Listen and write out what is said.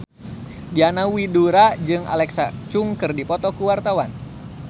Diana Widoera jeung Alexa Chung keur dipoto ku wartawan